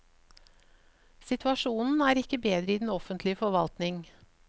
Situasjonen er ikke bedre i den offentlige forvaltning.